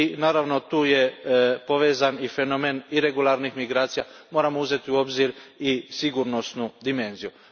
Naravno, tu je povezan i fenomen iregularnih migracija moramo uzeti u obzir i sigurnosnu dimenziju.